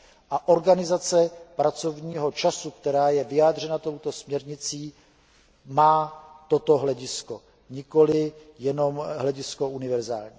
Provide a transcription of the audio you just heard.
A organizace pracovního času, která je vyjádřena touto směrnicí, má toto hledisko, nikoli jenom hledisko univerzální.